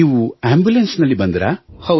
ನೀವು ಆಂಬುಲೆನ್ಸ್ ನಲ್ಲಿ ಬಂದಿರಾ